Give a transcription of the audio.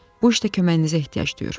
Bu işdə köməyinizə ehtiyac duyur."